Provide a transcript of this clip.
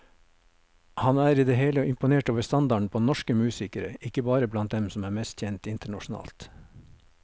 Han er i det hele imponert over standarden på norsk musikere, ikke bare blant dem som er mest kjent internasjonalt.